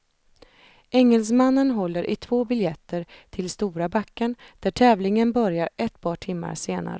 Engelsmannen håller i två biljetter till stora backen där tävlingen börjar ett par timmar senare.